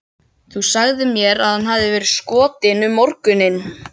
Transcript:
Þú sagðir mér að hann hefði verið skotinn um morguninn.